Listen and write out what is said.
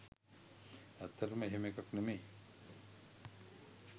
ඇත්තටම එහෙම එකක් නෙමෙයි.